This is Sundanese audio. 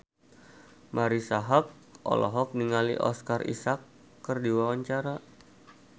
Marisa Haque olohok ningali Oscar Isaac keur diwawancara